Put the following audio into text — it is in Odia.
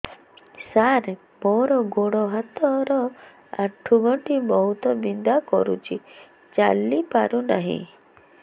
ସାର ମୋର ଗୋଡ ହାତ ର ଆଣ୍ଠୁ ଗଣ୍ଠି ବହୁତ ବିନ୍ଧା କରୁଛି ଚାଲି ପାରୁନାହିଁ